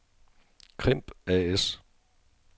Crimp A/S